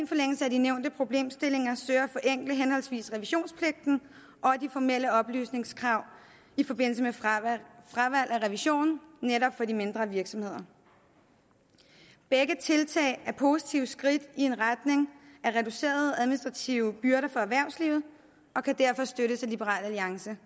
forlængelse af de nævnte problemstillinger søger at forenkle henholdsvis revisionspligten og de formelle oplysningskrav i forbindelse med fravalg af revisionen netop for de mindre virksomheder begge tiltag er positive skridt i retning af reducerede administrative byrder for erhvervslivet og kan derfor støttes af liberal alliance